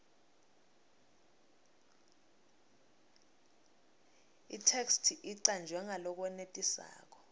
itheksthi icanjwe ngalokwenetisako